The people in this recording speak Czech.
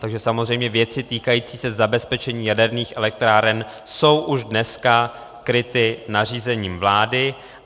Takže samozřejmě věci týkající se zabezpečení jaderných elektráren jsou už dneska kryty nařízením vlády.